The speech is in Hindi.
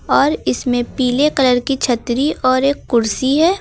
और इसमें पीले कलर की छतरी और एक कुर्सी है।